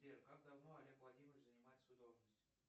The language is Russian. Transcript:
сбер как давно олег владимирович занимает свою должность